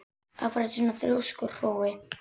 Af hverju ertu svona þrjóskur, Hrói?